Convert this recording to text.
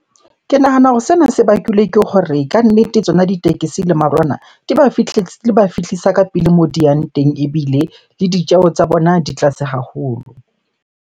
Ke nahana hore sena se bakilwe ke hore kannete tsona ditekesi le marwana di ba fihlisa ka pele moo di yang teng, ebile le ditjeho tsa bona di tlase haholo.